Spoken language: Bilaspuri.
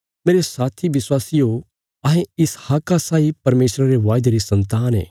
मेरे साथी विश्वासियो अहें इसहाका साई परमेशरा रे वायदे री सन्तान ये